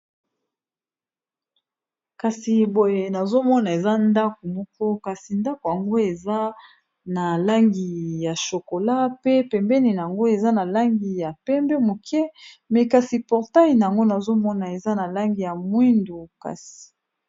kasi boye nazomona eza ndako moko kasi ndako yango eza na langi ya shokola pe pembeni yango eza na langi ya pembe moke me kasi portai yango nazomona eza na langi ya mwindu kasi